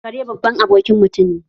Kare baban abokin mutum ne